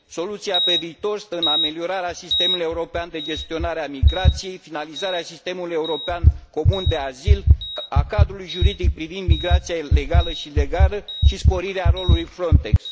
Soluția pe viitor stă în ameliorarea sistemului european de gestionare a migrației, finalizarea sistemului european comun de azil, a cadrului juridic privind migrația ilegală și legală și sporirea rolului FRONTEX